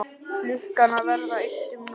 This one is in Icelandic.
Klukkan að verða eitt um nótt!